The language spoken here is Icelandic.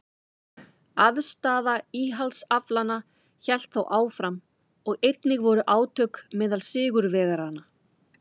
Andstaða íhaldsaflanna hélt þó áfram og einnig voru átök meðal sigurvegaranna.